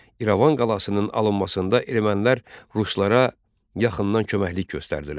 İrəvan qalasının alınmasında ermənilər ruslara yaxından köməklik göstərdilər.